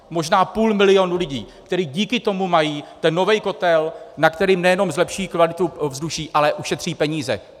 Možná půl milionu lidí, kteří díky tomu mají ten nový kotel, na kterém nejenom zlepší kvalitu ovzduší, ale ušetří peníze.